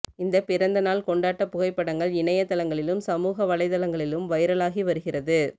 இந்த பிறந்த நாள் கொண்டாட்ட புகைப்படங்கள் இணையதளங்களிலும் சமூக வலைத்தளங்களிலும் வைரலாகி வருகிறது